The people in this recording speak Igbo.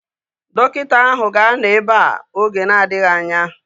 Dọkịta áhụ̀ ga-anọ ebea oge na-adịghị anya